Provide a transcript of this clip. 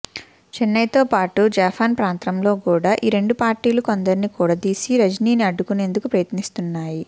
చెన్నైతోపాటు జాఫ్నా ప్రాంతంలో కూడా ఈ రెండు పార్టీలు కొందరిని కూడదీసి రజినీని అడ్డుకునేందుకు ప్రయత్నిస్తున్నాయి